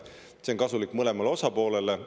See on kasulik mõlemale osapoolele.